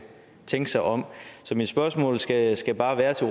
tænke sig om så mit spørgsmål skal skal bare være til